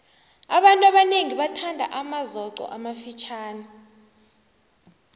abantu abanengi bathanda amazoqo amafitjhani